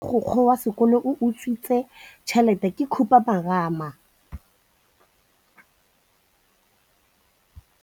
Taba ya gore mogokgo wa sekolo o utswitse tšhelete ke khupamarama.